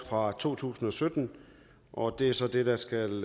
fra to tusind og sytten og det er så det der skal